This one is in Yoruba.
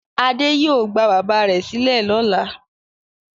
Adé yóò gba bàbá rẹ̀ sílẹ̀ lọ́la.